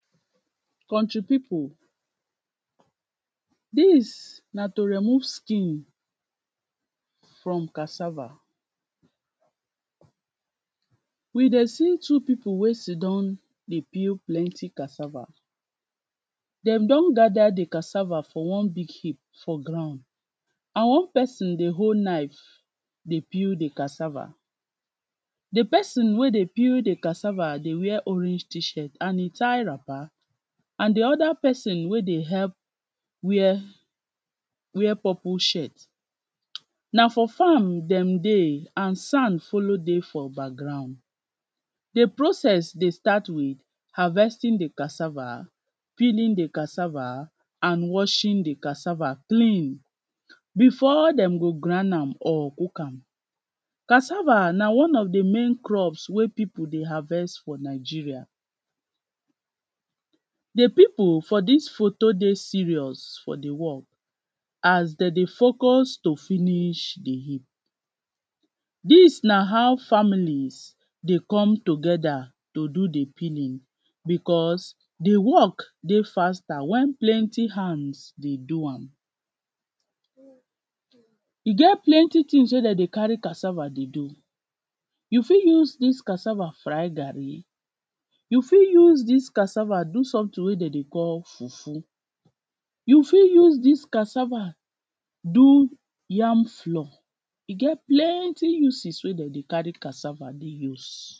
My country pipu, dis na to remove skin from cassava. We dey seentwo pipu wey sit down dey peel cassava, dem don gather di cassava for one big heap for ground and one person dey hold knife dey peel di cassava. Di person wey dey peel di cassava dey wear orange T-shirt and e tie wrapper and di other person wey dey help, wear purple shirt, na for farm dem dey and sand follow dey for background. Di process dey start with harvesting di cassava, peeling di cassava, and washing di cassava clean, before dem go grind am or cook am. Cassava na one of di main crops wey pipu dey harvest for Nigeria. Di pipu for dis photo dey serious for di work as de dey focus to finish di heap. Dis na how families dey come together to do di peeling because, di work dey faster when plenty hands dey do am. E get plenty things wey de dey carry cassava dey do, you fit use dis cassava fry garri, you fit use dis cassava do something wey de dey call fufu, you fit use cassava do yam flour, e get plenty uses wey dem dey carry cassava dey use.